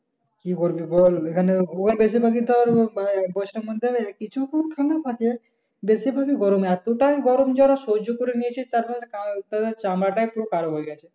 কি করবে বল? ওখানে ওরা বেশিভাগই তোর আহ মানে বেশি ভাগই গরমে এতটাই গরম যে ওরা সহ্য করে নিয়েছে। তারপরে নাই তাদের চামড়াটাই পুরো কালো হয়ে গেছে।